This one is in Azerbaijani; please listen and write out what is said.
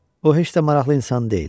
O heç də maraqlı insan deyil.